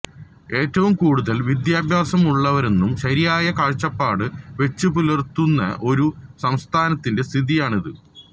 ഏറ്റവും കൂടുതല് വിദ്യാഭ്യാസമുള്ളവരെന്നും ശരിയായ കാഴ്ചപ്പാട് വെച്ചുപുലര്ത്തുന്ന ഒരു സംസ്ഥാനത്തിന്റെ സ്ഥിതിയാണിത്